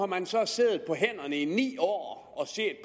man så siddet på hænderne i ni år